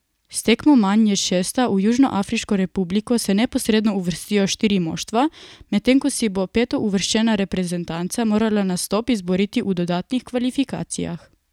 S tekmo manj je šesta, v Južnoafriško republiko se neposredno uvrstijo štiri moštva, medtem ko si bo petouvrščena reprezentanca morala nastop izboriti v dodatnih kvalifikacijah.